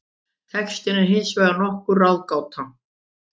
Textinn er hins vegar nokkur ráðgáta.